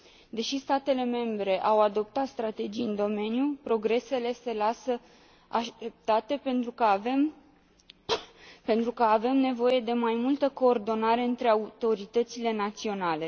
Deși statele membre au adoptat strategii în domeniu, progresele se lasă așteptate, pentru că avem nevoie de mai multă coordonare între autoritățile naționale.